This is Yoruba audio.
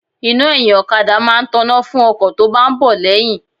Iná ẹyin okada máa ń tona fún ọkọ̀ tó bá ń bọ̀ lẹ́yìn.